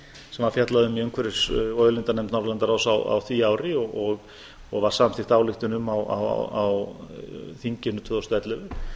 sem var fjallað um í umhverfis og auðlindanefnd norðurlandaráðs á því ári og var samþykkt ályktun um á þinginu tvö þúsund og ellefu